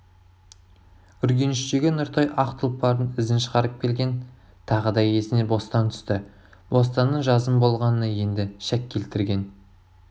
үргеніштегі нұртай ақ тұлпардың ізін шығарып келген тағы да есіне бостан түсті бостанның жазым болғанына енді шәк келтірген